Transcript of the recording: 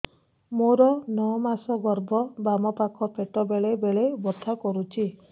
ମୋର ନଅ ମାସ ଗର୍ଭ ବାମ ପାଖ ପେଟ ବେଳେ ବେଳେ ବଥା କରୁଛି